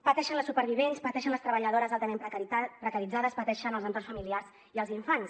pateixen les supervivents pateixen les treballadores altament precaritzades pateixen els entorns familiars i els infants